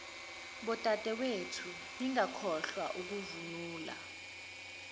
bodadewethu ningakhohlwa ukuvunula